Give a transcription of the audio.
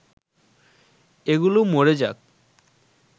এগুলো মরে যাক